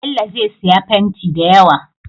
Bello zai siya fenti dayawa